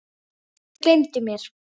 Þau gleymdu mér.